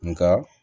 Nka